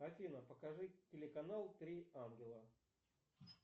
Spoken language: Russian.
афина покажи телеканал три ангела